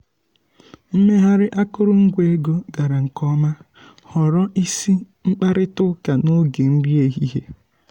mmegharị akụrụngwa ego gara nke ọma ghọrọ isi um mkparịta ụka n’oge nri ehihie.